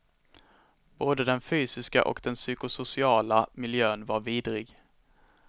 Både den fysiska och den psykosociala miljön var vidrig.